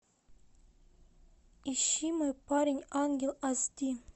ищи мой парень ангел ас ди